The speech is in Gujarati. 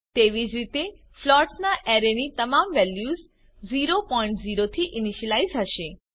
તેવી જ રીતે ફ્લોટ્સના અરેની તમામ વેલ્યુઝ 00 થી ઈનીશ્યલાઈઝ હશે